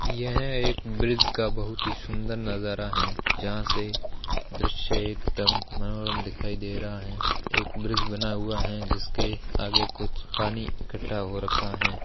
यह एक ब्रिज का बहुत ही सुन्दर नजारा है जहा से दृश्य एकदम मनोरम दिखाई दे रहा है एक ब्रिज बना हुआ है जिसके आगे कुछ पानी इकट्ठा हो रखा है।